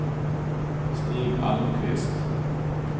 Stig Almqvist